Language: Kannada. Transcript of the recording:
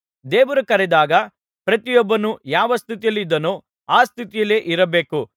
ದೇವರು ಕರೆದಾಗ ಪ್ರತಿಯೊಬ್ಬನು ಯಾವ ಸ್ಥಿತಿಯಲ್ಲಿದ್ದನೋ ಆ ಸ್ಥಿತಿಯಲ್ಲಿಯೇ ಇರಬೇಕು